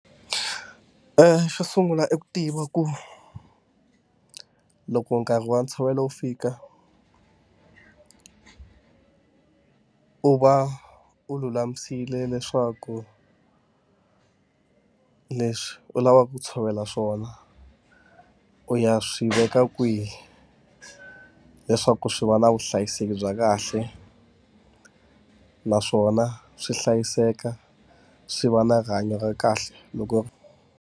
xo sungula i ku tiva ku loko nkarhi wa ntshovelo wu fika u va u lulamisile leswaku or leswi u lavaka ku tshovela swona u ya swi veka kwihi, leswaku swi va na vuhlayiseki bya kahle. Naswona swi hlayiseka swi va na rihanyo ra kahle loko.